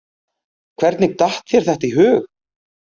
Hvernig datt þér þetta í hug?